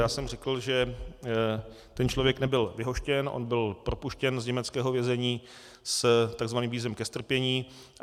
Já jsem řekl, že ten člověk nebyl vyhoštěn, on byl propuštěn z německého vězení s tzv. vízem ke strpění.